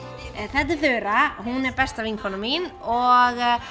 þetta er Þura hún er besta vinkona mín og